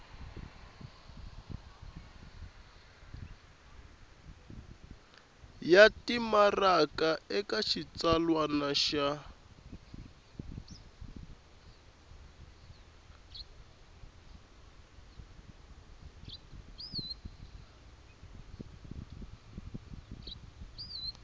ya timaraka eka xitsalwana xa